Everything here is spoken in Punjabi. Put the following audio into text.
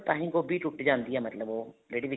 ਤਾਂਹੀ ਗੋਭੀ ਛੁੱਟੁੱਟ ਜਾਂਦੀ ਹੈ ਮਤਲਬ ਉਹ ਜਿਹੜੀ ਵਿੱਚ